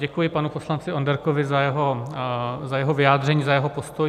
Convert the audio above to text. Děkuji panu poslanci Onderkovi za jeho vyjádření, za jeho postoj.